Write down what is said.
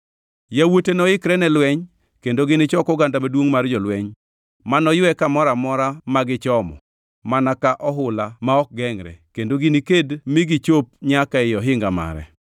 Yawuote noikre ne lweny kendo ginichok oganda maduongʼ mar jolweny, ma noywe kamoro amora ma gichomo mana ka ohula ma ok gengʼre, kendo giniked mi gichop nyaka ei ohinga mare.